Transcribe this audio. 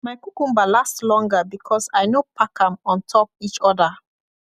my cucumber last longer because i no pack am on top each other